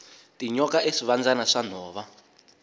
tinyoka i swivandzana swa nhova